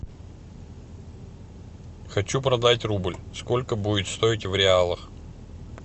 хочу продать рубль сколько будет стоить в реалах